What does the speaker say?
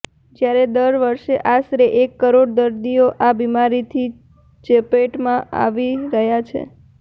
જ્યારે દર વર્ષે આશરે એક કરોડ દર્દીઓ આ બીમારીને ચપેટમાં આવી રહ્યા છે